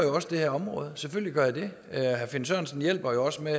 det her område selvfølgelig gør jeg det herre finn sørensen hjælper også med